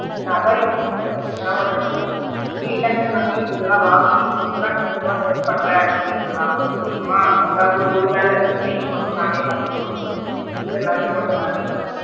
நான் அதுக்கு தான் யோசிச்சு பேசாம induction இதுலா வாங்கி இப்ப தான் கொஞ்ச கொஞ்சமா set பண்றேன் அப்படின்றனால கொஞ்ச கொஞ்சமா ஏதாவது ஒரு வேளை night மட்டும் நானே பண்ணிக்கிற மாதிரி இல்ல லஞ்ச் மட்டும் நானே பண்ணிக்கிற மாதிரி.